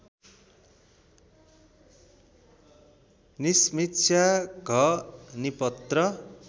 निसमीक्षा घ निपत्र